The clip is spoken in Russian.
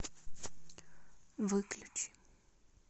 выключи